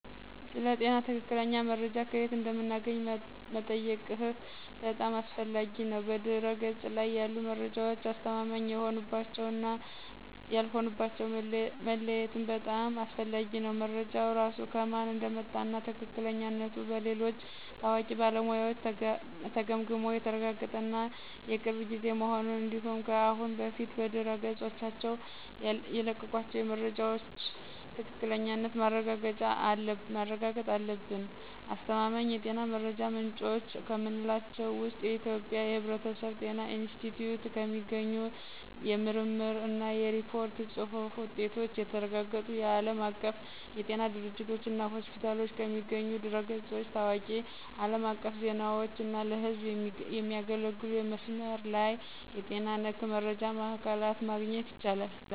ስለ ጤና ትክክለኛ መረጃ ከየት እንደምናገኝ መጠየቅህ በጣም አስፈላጊ ነው። በድህረ-ገጽ ላይ ያሉ መረጃዎች አስተማማኝ የሆኑባቸውን እና ያልሆኑባቸውን መለየትም በጣም አስፈላጊ ነው። መረጃው ራሱ ከማን እንደመጣ እና ትክክለኛነቱ በሌሎች ታዋቂ ባለሙያዎች ተገምግሞ የተረጋገጠ እና የቅርብ ጊዜ መሆኑን እንዲሁም ከአሁን በፊት በድረገጾቻቸው የለቀቋቸው የመረጃ ምንጮች ትክክለኛነት ማረጋገጥ አለብን። አስተማማኝ የጤና መረጃ ምንጮች ከምንላቸው ውስጥ የኢትዮጵያ የሕብረተሰብ ጤና ኢንስቲትዩት ከሚገኙ የምርምር እና የሪፖርት ጽሁፍ ውጤቶች፣ የተረጋገጡ የዓለም አቀፍ የጤና ድርጅቶችና ሆስፒታሎች ከሚገኙ ድረ-ገጾች፣ ታዋቂ አለም አቀፍ ዜናዎች እና ለህዝብ የሚያገለግሉ የመስመር ላይ የጤና ነክ መረጃ ማዕከላት ማግኘት ይቻላል።